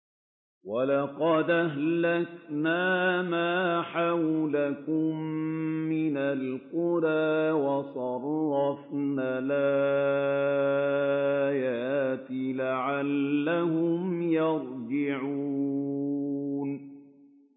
وَلَقَدْ أَهْلَكْنَا مَا حَوْلَكُم مِّنَ الْقُرَىٰ وَصَرَّفْنَا الْآيَاتِ لَعَلَّهُمْ يَرْجِعُونَ